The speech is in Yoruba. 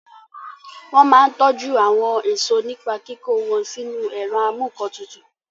Wọ́n máa n tọjú àwọn èèso nípa kíkó wọn sínu ẹ̀rọ amúǹkantutù